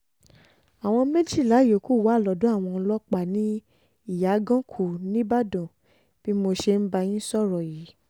àwọn méjìlá yòókù wà lọ́dọ̀ àwọn ọlọ́pàá ní ìyàgànkù níìbàdàn bí mo ṣe ń bá yín sọ̀rọ̀ yìí